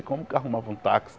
E como que arrumavam um táxi?